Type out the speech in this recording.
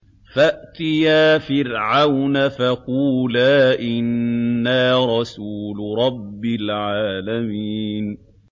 فَأْتِيَا فِرْعَوْنَ فَقُولَا إِنَّا رَسُولُ رَبِّ الْعَالَمِينَ